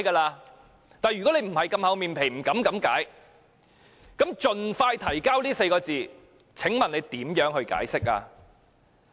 但是，如果你沒有這麼"厚臉皮"，不敢這樣解說的話，那麼，"盡快提交"這4個字，請問你如何解釋？